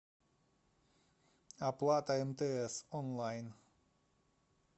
оплата мтс онлайн